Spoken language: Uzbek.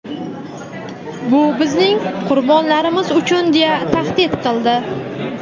"bu bizning qurbonlarimiz uchun" deya tahdid qildi.